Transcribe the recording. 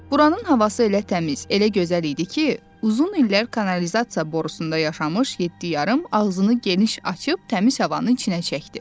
Buranın havası elə təmiz, elə gözəl idi ki, uzun illər kanalizasiya borusunda yaşamış yeddi yarım ağzını geniş açıb təmiz havanı içinə çəkdi.